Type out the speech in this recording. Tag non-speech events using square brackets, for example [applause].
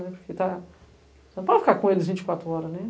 [unintelligible] Você não pode ficar com eles vinte e quatro horas, né?